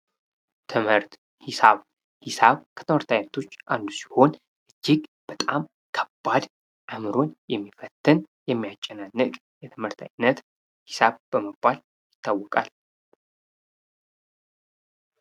ትምህርት፦ ሒሳብ፦ ሂሳብ ከትምህርት አይነቶች አንዱ ሲሆን እጅግ በጣም ከባድ አዕምሮን የሚፈትን የሚያጨናንቅ የትምህርት አይነት ሂሳብ በመባል ይታወቃል።